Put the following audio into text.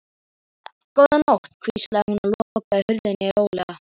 Góða nótt, hvíslaði hún og lokaði hurðinni hljóðlega.